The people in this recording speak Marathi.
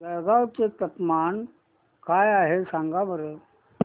जळगाव चे तापमान काय आहे सांगा बरं